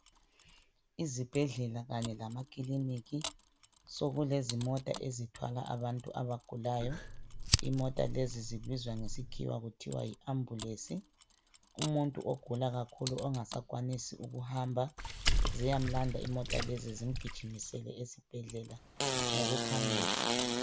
Izibhedlela kanye lamakiliniki sokulezimota ezithwala abantu abagulayo imota lezi zibizwa ngesikhiwa kuthiwa yiambulensi umuntu ogula kakhulu ongasakwanisi ukuhamba ziyamulanda imota lezi zimgijimise esibhedlela ngokuphangisa.